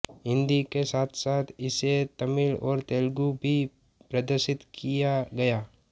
हिन्दी के साथसाथ इसे तमिल और तेलगु मे भी प्रदर्शित किया गया